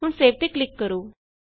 ਹੁਣ ਸੇਵ ਤੇ ਕਲਿਕ ਕਰੋ